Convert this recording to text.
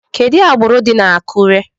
Kedu agbụrụ dị na Akure?